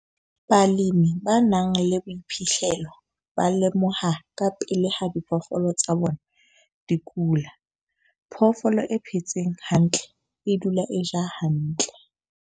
Balemi ba nang le boiphihlelo ba lemoha kapele ha diphoofolo tsa bona di kula. Phoofolo e phetseng hantle e dula e ja hantle.